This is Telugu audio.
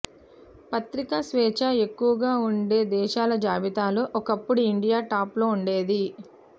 ప్రతీకా స్వేచ్చ ఎక్కువగా ఉండే దేశాల జాబితాలో ఒకప్పుడు ఇండియా టాప్ లో ఉండేది